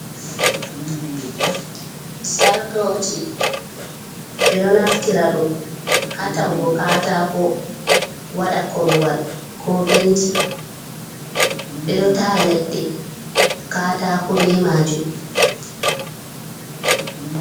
Jartoji ɓe ɗo naftira ɗum ha ta’ugo kaataako wada korowal ko benci ɓe ɗo taa leɗɗe kaataako be majum.